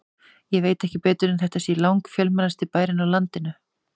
Ég veit ekki betur en þetta sé langfjölmennasti bærinn á landinu.